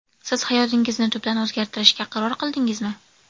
Siz hayotingizni tubdan o‘zgartirishga qaror qildingizmi?